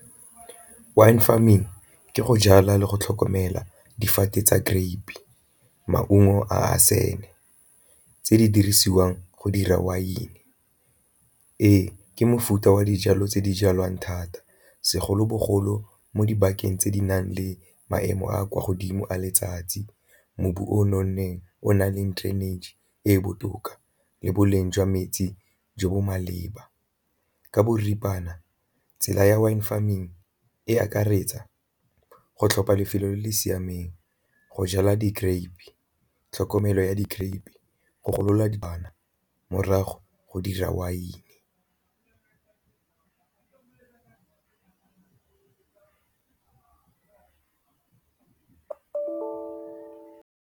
Wine farming ke go jala le go tlhokomela difate tsa grape-e, maungo a a tse di dirisiwang go dira wine. Ee, ke mofuta wa dijalo tse di jalwang thata segolobogolo mo dibakeng tse di nang le maemo a kwa godimo a letsatsi, mobu o o nonneng o na leng drainage e e botoka le boleng jwa metsi jo bo maleba. Ka boripana, tsela ya wine farming e akaretsa go tlhopha lefelo le le siameng, go jala di-grape-e, tlhokomelo ya di-grape-e, go golola di morago go dira wine.